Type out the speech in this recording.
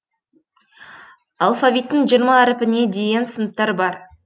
алфавиттің жиырма әрпіне дейін сыныптар бар